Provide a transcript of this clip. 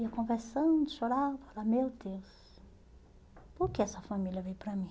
Eu ia conversando, chorava, eu falava, meu Deus, por que essa família veio para mim?